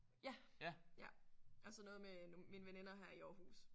Ja. Ja og så noget med mine veninder her i Aarhus